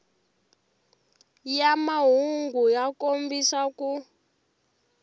ya mahungu ya kombisa ku